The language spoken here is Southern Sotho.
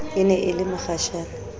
e ne e le mokgashane